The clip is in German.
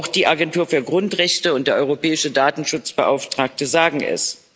Auch die Agentur für Grundrechte und der Europäische Datenschutzbeauftragte sagen das.